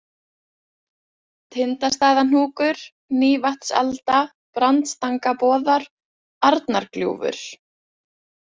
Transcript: Tindstaðahnúkur, Nýjavatnsalda, Brandstangaboðar, Arnargljúfur